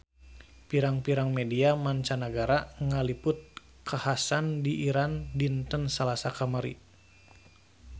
Pirang-pirang media mancanagara ngaliput kakhasan di Iran dinten Salasa kamari